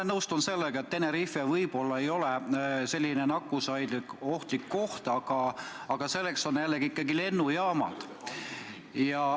Ma nõustun sellega, et Tenerife võib-olla ei ole selline nakkusohtlik koht, aga selleks on ikkagi lennujaamad.